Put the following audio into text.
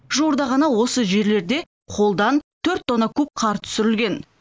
жуырда ғана осы жерлерде қолдан төрт тонна куб қар түсірілген